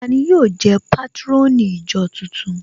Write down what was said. Tani yóò jẹ́ patron ìjọ tuntun?